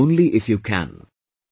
Do it only if you can